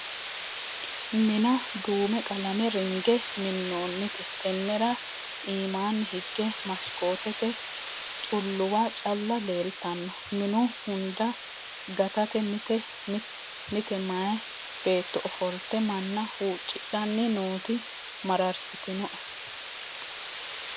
Mina duume qalame ringe minonite tenera iimani hige masikotete xuluwa calla leeltano minu hunda gatate mite mayi beetto ofolte manna huccidhanni nooti mararsitinoe.